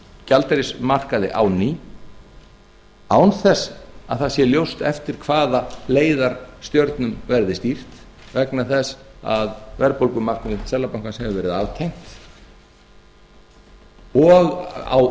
gjaldeyrismarkaði á ný án þess að það sé ljóst eftir hvaða leiðarstjörnum verði stýrt vegna þess að verðbólgumarkmið seðlabankans hefur verið aftengt og